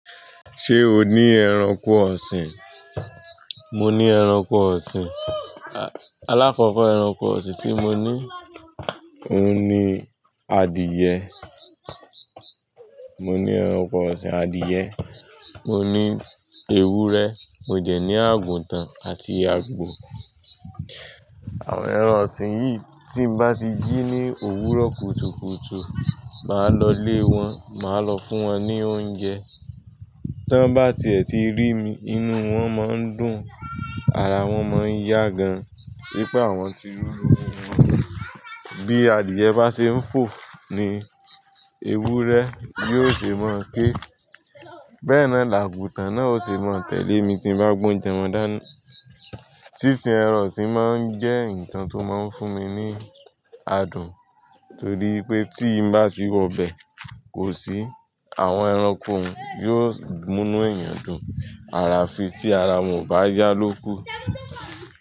Ṣé o ní ẹranko ọ̀sìn? Mo ní ẹranko ọ̀sìn. Aláfọ̀fọ́ ẹranko ọ̀sìn tí mo ní òun ni adìẹ. Mo ní ẹranko ọ̀sìn adìẹ, mo ní ewúrẹ́, mo dẹ̀ ní àgùntàn àti àgbò. Àwọn ẹran ọ̀sìn yìí tí bá ti jí ní òwúrọ̀ kùtùkùtù, màá lọ lé wọn, màá lọ fún wọn ní oúnjẹ. Tán bá ti ẹ̀ ti rí mi, inú wọn máa ń dùn, ara wọn máa ń yá gan ní pé àwọn ti rí olówó wọn. Bí adìẹ bá ṣe ń fò ni ewúrẹ́ yóò ṣe máa ké. Bẹ́ẹ̀ náà làgùntàn náà ó ṣe máa tẹ̀lé mi tí bá gbé oúnjẹ wọn dání. Sísín ẹran ọ̀sìn máa ń jẹ́ nǹkan tó máa ń fún mi ní adùn torí pé tí bá ti wọ bẹ̀ kò sí, àwọn ẹranko n yóò mú inú èèyàn dùn. Ayafi tí ara wọn ò bá yá ló kú.